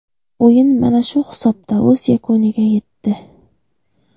O‘yin mana shu hisobda o‘z yakuniga yetdi.